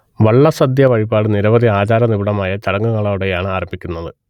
വള്ളസദ്യ വഴിപാട് നിരവധി ആചാര നിബിഡമായ ചടങ്ങുകളോടെയാണ് ആരംഭിക്കുന്നത്